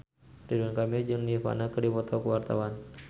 Ridwan Kamil jeung Nirvana keur dipoto ku wartawan